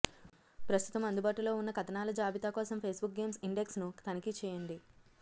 ప్రస్తుతం అందుబాటులో ఉన్న కథనాల జాబితా కోసం ఫేస్బుక్ గేమ్స్ ఇండెక్స్ ను తనిఖీ చేయండి